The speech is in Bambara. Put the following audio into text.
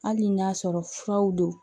Hali n'a sɔrɔ furaw don